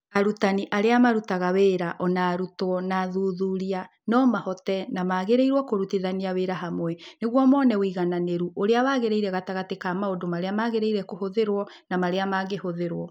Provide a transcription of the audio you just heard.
Arutani, arĩa marutaga wĩra, o na arutwo na athuthuria no mahote na magĩrĩirũo kũrutithania wĩra hamwe nĩguo mone ũigananĩru ũrĩa wagĩrĩire gatagatĩ ka maũndũ marĩa magĩrĩire kũhũthĩrũo na marĩa mangĩhũthĩrũo.